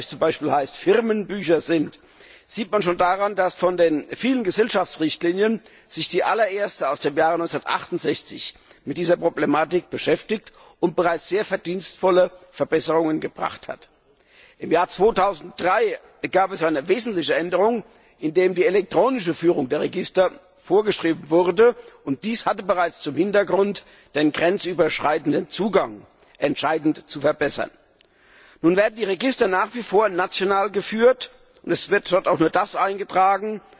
in Österreich heißt Firmenbücher sind, sieht man schon daran, dass sich von den vielen Gesellschaftsrichtlinien die allererste aus dem Jahre 1968 mit dieser Problematik beschäftigt und bereits sehr verdienstvolle Verbesserungen gebracht hat. Im Jahr 2003 gab es eine wesentliche Änderung, indem die elektronische Führung der Register vorgeschrieben wurde, und zwar vor dem Hintergrund, dass der grenzüberschreitende Zugang entscheidend verbessert werden sollte. Nun werden die Register nach wie vor national geführt, und es wird dort auch nur das eingetragen,